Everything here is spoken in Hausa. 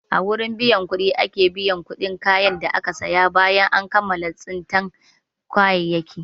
A gurin biyan kuɗi ake biyan kuɗin kayan da aka saya bayan kammala tsintan kayayyaki.